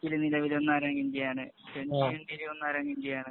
ടെസ്റ്റില് നിലവില് ഇന്ത്യ ആണ്.